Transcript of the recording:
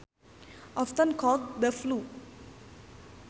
Often called the flu